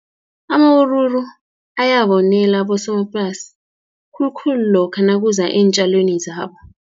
Amawuruwuru ayabonela abosomaplasi, khulukhulu lokha nakuza eentjalweni zabo.